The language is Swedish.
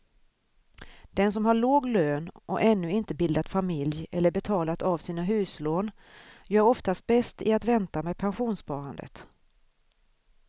Den som har låg lön och ännu inte bildat familj eller betalat av sina huslån gör oftast bäst i att vänta med pensionssparandet.